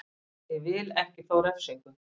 Ég vil ekki fá refsingu.